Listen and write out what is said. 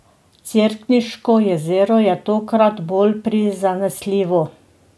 Cerkniško jezero je tokrat bolj prizanesljivo.